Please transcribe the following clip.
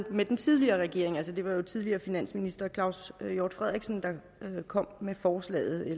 med den tidligere regering altså det var jo tidligere finansminister claus hjort frederiksen der kom med forslaget